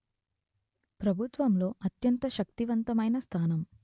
ప్రభుత్వంలో అత్యంత శక్తివంతమైన స్థానం